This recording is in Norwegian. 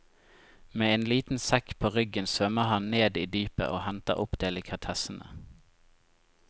Med en liten sekk på ryggen svømmer han ned i dypet og henter opp delikatessene.